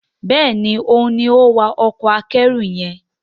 Béèni òun ní o wá Ọkọ̀ akẹ́rù yen.